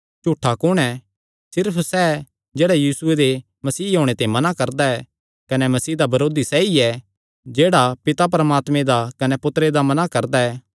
झूठा कुण ऐ सिर्फ सैह़ जेह्ड़ा यीशुये दे मसीह होणे ते मना करदा ऐ कने मसीह दा बरोधी सैई ऐ जेह्ड़ा पिता परमात्मे दा कने पुत्तरे दा मना करदा ऐ